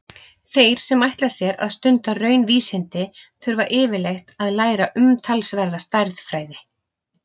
Þeir sem ætla sér að stunda raunvísindi þurfa yfirleitt að læra umtalsverða stærðfræði.